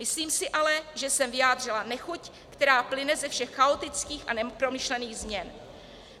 Myslím si ale, že jsem vyjádřila nechuť, která plyne ze všech chaotických a nepromyšlených změn.